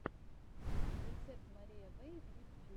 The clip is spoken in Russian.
рецепт мария вэй в ютюбе